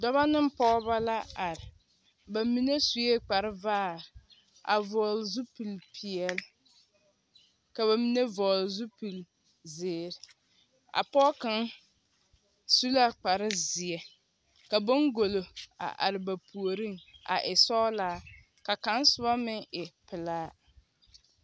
Dɔbɔ neŋ pɔgebɔ la are. Ba mine sue kparevaare, a vɔgele zupil-peɛl, ka ba mine vɔgele zupil-zeere. A pɔg kaŋ su la kparezeɛ ka boŋgolo a are ba puoriŋ a e sɔglaa ka kaŋa meŋ e pelaa.